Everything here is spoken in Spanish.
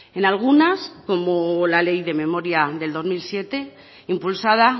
en algunas como la ley de memoria del dos mil siete impulsada